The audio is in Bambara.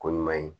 Ko ɲuman ye